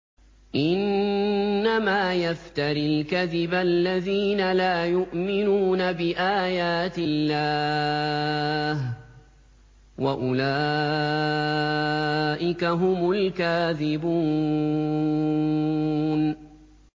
إِنَّمَا يَفْتَرِي الْكَذِبَ الَّذِينَ لَا يُؤْمِنُونَ بِآيَاتِ اللَّهِ ۖ وَأُولَٰئِكَ هُمُ الْكَاذِبُونَ